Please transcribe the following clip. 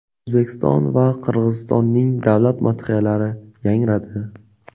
O‘zbekiston va Qirg‘izistonning davlat madhiyalari yangradi.